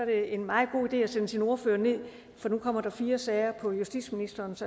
en meget god idé at sende sin ordfører ned for nu kommer der fire sager på justitsministerens